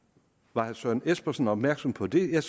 var herre søren espersen opmærksom på det jeg